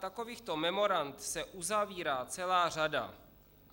Takovýchto memorand se uzavírá celá řada.